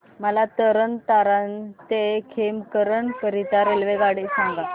मला तरण तारण ते खेमकरन करीता रेल्वेगाड्या सांगा